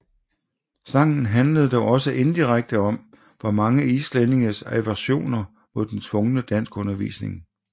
Sangen handlede dog også indirekte om mange islændinges aversioner mod den tvungne danskundervisning